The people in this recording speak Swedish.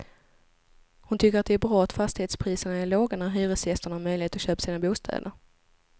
Hon tycker att det är bra att fastighetspriserna är låga när hyresgästerna har möjlighet att köpa sina bostäder.